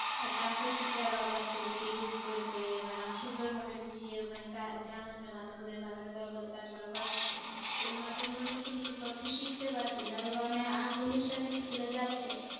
class র teacher রাও বাচ্চাদের কে group করে করে মানে সুন্দর ভাবে বুঝিয়ে ওদের আনন্দের মাধ্যমে ওদের দরাগত কাজগুলা করাচ্ছে, এর মাধ্যমে ওরা নতুন নতুন তথ্য শিখতে পারসে, আর ওরা উনেক আগ্রহের সাথেই school এ যাচ্ছে ।